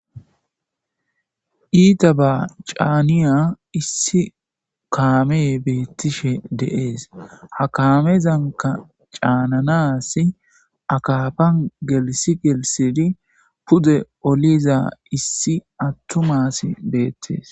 Iitabba canniya issi kamey bettishe de'es. Ha kammezankka cananassi akafan geelissi gelisidi pude olliza issi attuma asi bettes.